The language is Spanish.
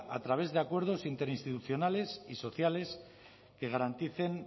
a través de acuerdos interinstitucionales y sociales que garanticen